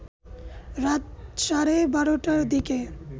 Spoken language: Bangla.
রাত সাড়ে ১২টার দিকে